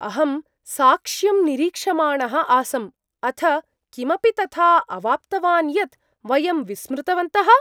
अहं साक्ष्यं निरीक्षमाणः आसम्, अथ किमपि तथा अवाप्तवान् यत् वयं विस्मृतवन्तः।